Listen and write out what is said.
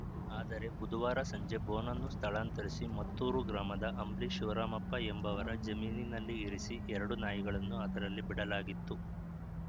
ಆದರೆ ಬುಧವಾರ ಸಂಜೆ ಬೋನನ್ನು ಸ್ಥಳಾಂತರಿಸಿ ಮತ್ತೂರು ಗ್ರಾಮದ ಅಂಬ್ಲಿ ಶಿವರಾಮಪ್ಪ ಎಂಬುವರ ಜಮೀನಿನಲ್ಲಿ ಇರಿಸಿ ಎರಡು ನಾಯಿಗಳನ್ನು ಅದರಲ್ಲಿ ಬಿಡಲಾಗಿತ್ತು